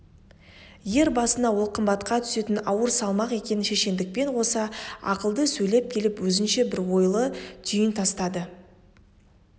ер басына ол қымбатқа түсетін ауыр салмақ екенін шешендікпен қоса ақылды сөйлеп келіп өзінше бір ойлы түйін тастады